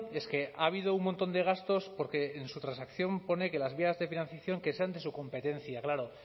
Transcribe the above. es que ha habido un montón de gastos porque en su transacción pone que las vías de financiación que sean de su competencia claro